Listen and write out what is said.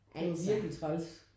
Det var virkelig træls